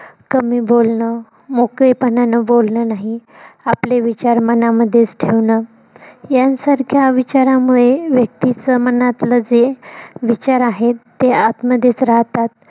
कमी बोलणं मोकळेपणान बोलणं नाही आपले विचार मनामध्येच ठेवणं यांसारख्या विचारामुळे व्यक्तीच मनातलं जे विचार आहेत ते आतमधेच राहतात.